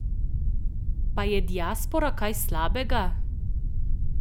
Pa je diaspora kaj slabega?